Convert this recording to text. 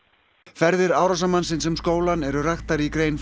ferðir árásarmannsins um skólann eru raktar í grein